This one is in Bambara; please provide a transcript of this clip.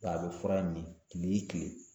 Nka a bɛ fura in min kile kile